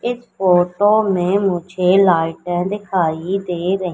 इस फोटो में मुझे लाइटे दिखाई दे रही--